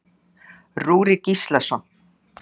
Rúrik Gíslason.